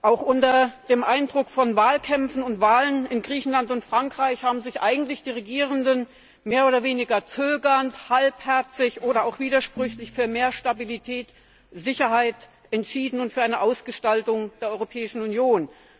Auch unter dem Eindruck von Wahlkämpfen und Wahlen in Griechenland und Frankreich haben sich eigentlich die Regierenden mehr oder weniger zögernd, halbherzig oder auch widersprüchlich für mehr Stabilität, Sicherheit entschieden und für eine Ausgestaltung der Europäischen Union.